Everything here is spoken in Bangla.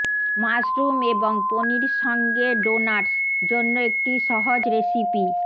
মাশরুম এবং পনির সঙ্গে ডোনাটস জন্য একটি সহজ রেসিপি